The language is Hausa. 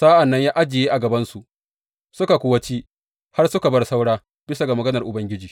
Sa’an nan ya ajiye a gabansu, suka kuwa ci har suka bar saura, bisa ga maganar Ubangiji.